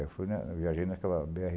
Eu fui na, eu viajei naquela bê erre.